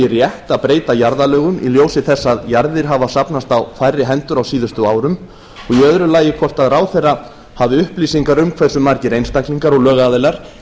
rétt að breyta jarðalögum í ljósi þess að jarðir hafa safnast á færri hendur á síðustu árum og í öðru lagi hvort ráðherra hafi upplýsingar um hversu margir einstaklingar og lögaðilar